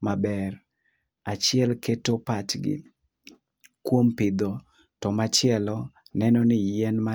maber. Achiel keto pachgi kuom pidho to machielo neno ni yien mati.